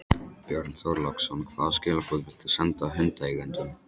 Björn Þorláksson: Hvaða skilaboð vilt þú senda hundaeigendum?